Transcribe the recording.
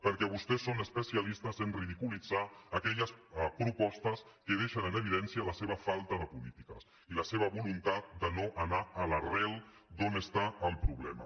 perquè vostès són especialistes a ridiculitzar aquelles propostes que deixen en evidència la seva falta de polítiques i la seva voluntat de no anar a l’arrel d’on hi ha el problema